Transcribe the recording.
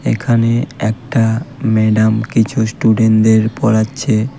এখানে একটা ম্যাডাম কিছু স্টুডেন্টদের পড়াচ্ছে.